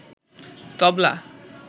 তবলা